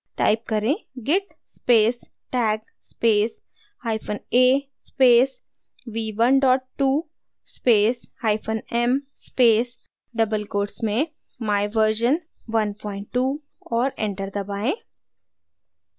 type करें: git space tag space hyphen a space v12 space hyphen m space double quotes में my version 12 और enter दबाएँ